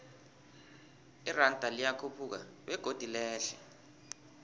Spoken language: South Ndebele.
iranda liyakhuphuka begodu lehle